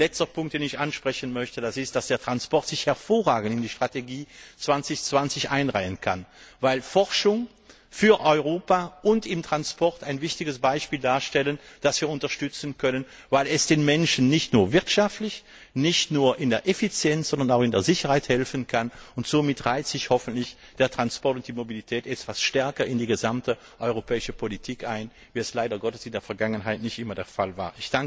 Und ein letzter Punkt ist, dass sich der Transport hervorragend in die Strategie 2020 einreihen kann, weil Forschung für Europa und im Transport einen wichtigen Aspekt darstellt, den wir unterstützen können, weil er den Menschen nicht nur wirtschaftlich, nicht nur im Hinblick auf Effizienz, sondern auch im Bereich der Sicherheit helfen kann, und somit reihen sich hoffentlich der Transport und die Mobilität etwas stärker in die gesamte europäische Politik ein, als es leider Gottes in der Vergangenheit oft der Fall war.